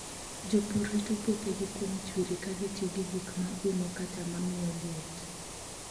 Jopur rito puothegi kuom chwiri ka gitiyo gi gik ma umo kata ma miyo liet.